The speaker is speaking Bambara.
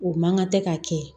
O man kan tɛ ka kɛ